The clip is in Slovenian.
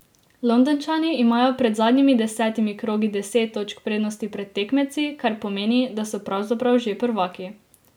Londončani imajo pred zadnjimi deseti krogi deset točk prednosti pred tekmeci, kar pomeni, da so pravzaprav že prvaki.